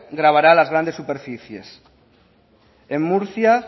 gravará las grandes superficies en murcia